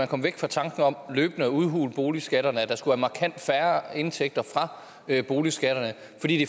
kom væk fra tanken om løbende at udhule boligskatterne at der skulle være markant færre indtægter fra boligskatterne